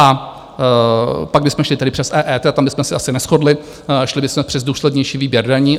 A pak bychom šli tedy přes EET, tam bychom se asi neshodli, šli bychom přes důslednější výběr daní.